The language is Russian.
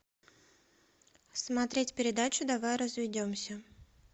смотреть передачу давай разведемся